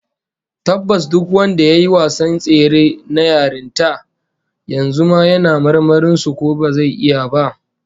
Tabbas duk wanda yayi wasan tsere na yarinta, yanzu ma yana marmarin su ko bazai iya ba